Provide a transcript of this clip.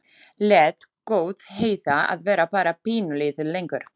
Lét gott heita að vera bara pínulítið lengur.